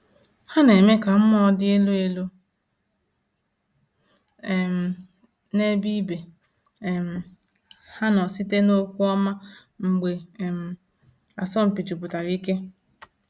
Ha na-eme ka mmụọ dị elu elu um n’ebe ibe um ha nọ site n’okwu ọma mgbe um asọmpi jupụtara ike.